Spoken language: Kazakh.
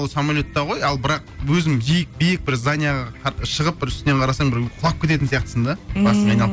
ол самолетта ғой ал бірақ өзім биік бір зданиеге шығып бір үстінен қарасаң бір құлап кететін сияқтысың да ммм басың айналып